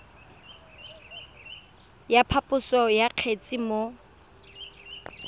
ya phaposo ya kgetse mo